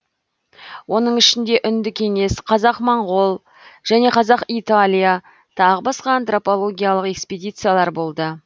оның ішінде үнді кеңес қазақ моңғол және қазақ италия тағы басқа антропологиялық экспедициялар болды